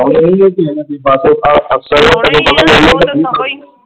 ਆਉਂਦੇ ਰਹੀਏ ,